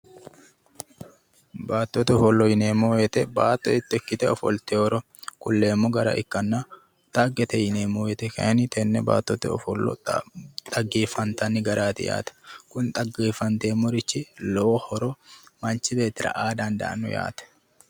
Baattote ofollo yineemmo woyte baatto hiitto ikkite ofolliteyoro kulleemmo gara ikkanna ,dhaggete yineemmo woyte kayinni tene baattote ofollo dhaggefattanni garaati yaate ,kuno dhaggefateemmo garati lowo horo manchi beettira aano yaate.